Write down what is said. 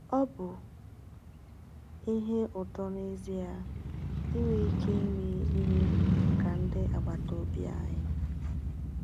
“Ọ bụ ihe ụtọ n’ezie inwe ike ime ihe maka ndị agbata obi anyị.”